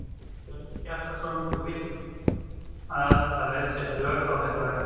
Hjörtur Hjartarson: Þú vilt að það verði sett lög á þetta verkfall?